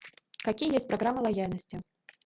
какие есть программы лояльности